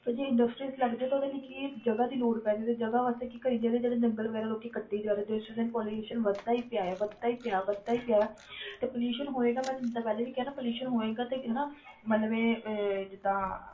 ਤੇ ਜੇ industries ਲੱਗ ਜਾਏ ਤੇ ਉਹਦੇ ਲਈ ਕੀ ਜਗ੍ਹਾ ਦੀ ਲੋੜ ਪੈ ਜਾਏ ਤੇ ਜਗ੍ਹਾ ਵਾਸਤੇ ਕੀ ਕਰੀ ਜਾਂਦੇ ਜਿਹੜੇ ਜੰਗਲ ਵਗ਼ੈਰਾ ਲੋਕੀ ਕੱਟੀ ਜਾ ਰਹੇ pollution ਵੱਧਦਾ ਹੀ ਪਿਆ ਹੈ ਵੱਧਦਾ ਹੀ ਪਿਆ, ਵੱਧਦਾ ਹੀ ਪਿਆ ਤੇ pollution